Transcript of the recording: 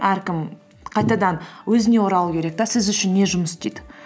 әркім қайтадан өзіне оралу керек те сіз үшін не жұмыс істейді